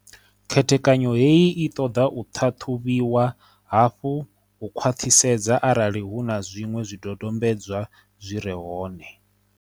Khethekanyo heyi i ṱoḓa u ṱhaṱhuvhiwa hafhu u khwa ṱhisedza arali hu na zwiṅwe zwidodombedzwa zwi re hone.